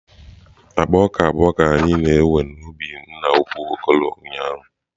Akpa ọka abụọ ka a na-ewe n'ubi nna ukwu Okoro ụnyaahụ.